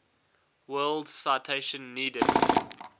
world citation needed